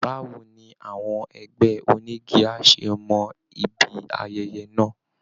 Báwo ni àwọn ẹgbẹ́ onígi á ṣe mọ ibi ayẹyẹ náà?